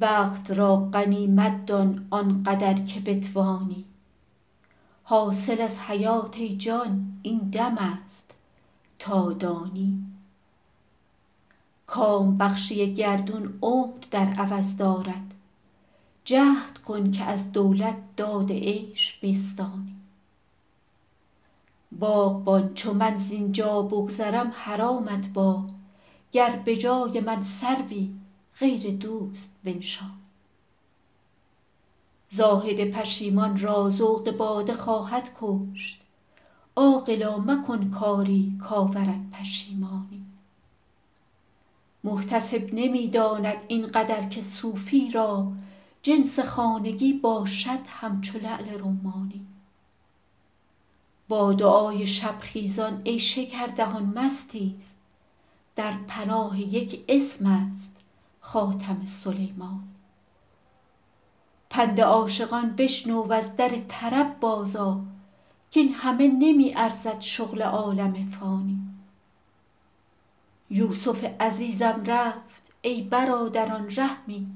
وقت را غنیمت دان آن قدر که بتوانی حاصل از حیات ای جان این دم است تا دانی کام بخشی گردون عمر در عوض دارد جهد کن که از دولت داد عیش بستانی باغبان چو من زین جا بگذرم حرامت باد گر به جای من سروی غیر دوست بنشانی زاهد پشیمان را ذوق باده خواهد کشت عاقلا مکن کاری کآورد پشیمانی محتسب نمی داند این قدر که صوفی را جنس خانگی باشد همچو لعل رمانی با دعای شب خیزان ای شکردهان مستیز در پناه یک اسم است خاتم سلیمانی پند عاشقان بشنو و از در طرب بازآ کاین همه نمی ارزد شغل عالم فانی یوسف عزیزم رفت ای برادران رحمی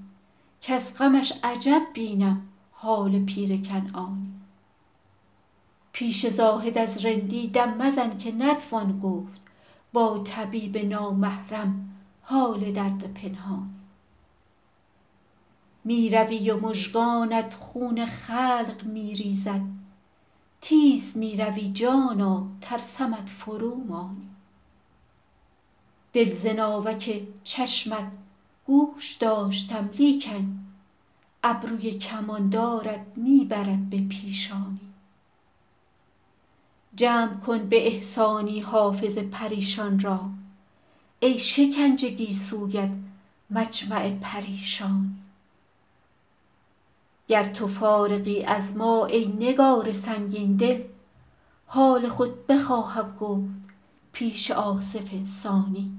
کز غمش عجب بینم حال پیر کنعانی پیش زاهد از رندی دم مزن که نتوان گفت با طبیب نامحرم حال درد پنهانی می روی و مژگانت خون خلق می ریزد تیز می روی جانا ترسمت فرومانی دل ز ناوک چشمت گوش داشتم لیکن ابروی کماندارت می برد به پیشانی جمع کن به احسانی حافظ پریشان را ای شکنج گیسویت مجمع پریشانی گر تو فارغی از ما ای نگار سنگین دل حال خود بخواهم گفت پیش آصف ثانی